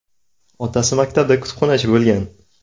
Otasi maktabda kutubxonachi bo‘lgan.